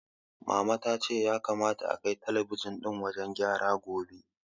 Mama ta ce ya kamata akai talabijin ɗin wajen mai gyara gobe.